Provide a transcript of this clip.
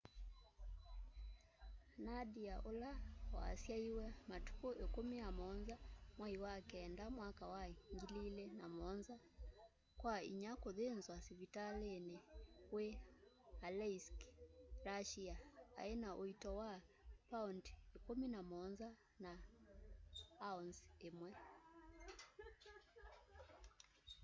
nadia ula wasyaiwe matuku 17 mwai wa kenda mwaka wa 2007 kwa inya kuthinzwa sivitalini wi aleisk russia aina uito wa pound 17 na ounce imwe